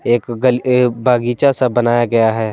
एक गल ए बगीचा सा बनाया गया है।